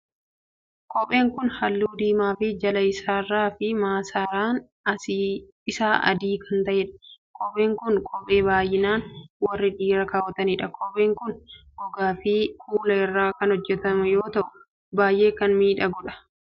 Kopheen kun Halluu diimaa fi jala isaarraa fi maasaraan isaa adii kan ta'edha. Kopheen kun kophee baay'inaan warri dhiiraa kaawwatanidha. Kopheen kun gogaa fi kuula irraa kan hojjetamu yoo ta'u baay'ee kan miidhagadhu. Kopheen kun eessatti hojjetama?